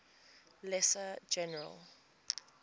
lesser general